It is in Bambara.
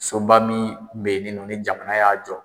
Soba min bɛyininɔ ni jamana y'a jɔ.